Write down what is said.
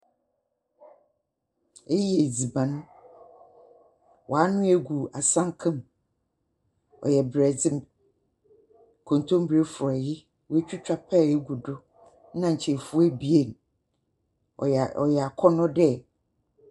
Eyi yɛ edziban wanoa egu asanka mu ɔyɛ borɛdze kontomire frɔye watwitwa pɛɛ egu do nna nkyefowa ebien ɔyɛ akɔnɔ dɛ.